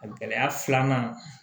A gɛlɛya filanan